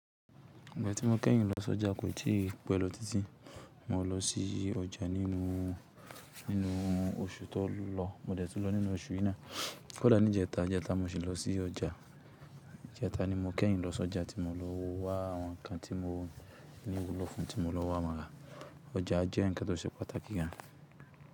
Ìgbà tí mo kẹ́yìn lọ s'ọjà kò tí ì pẹ́ lọ títí. Mó lọ sí ọjà nínú, nínú oṣù tó lọ. Mó dẹ̀ tún lọ nínú oṣù yí naá. Kódà ní ìjẹta, ìjẹta mo sì lọ sí ọjà. Ìjẹta ni mo kẹ́yìn lọ sí ọjà tí mo lọ wá àwọn ǹkan tí mo ní wu'lo fún, tí mo lọ wá won ra. Ọjà jẹ́ ǹkan tó ṣe pàtàkì gan.